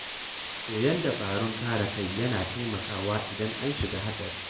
Koyon dabarun kare kai yana taimakawa idan an shiga hatsari.